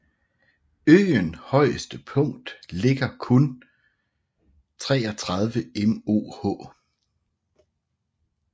Øen højeste punkt ligger kun 33 moh